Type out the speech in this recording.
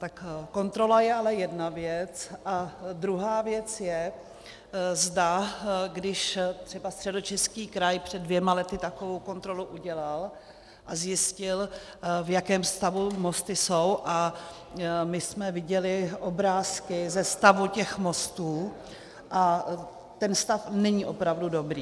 Tak kontrola je ale jedna věc a druhá věc je, zda když třeba Středočeský kraj před dvěma lety takovou kontrolu udělal a zjistil, v jakém stavu mosty jsou, a my jsme viděli obrázky ze stavu těch mostů a ten stav není opravdu dobrý.